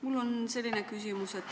Mul on selline küsimus.